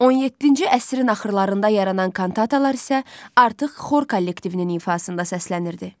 17-ci əsrin axırlarında yaranan kantatalar isə artıq xor kollektivinin ifasında səslənirdi.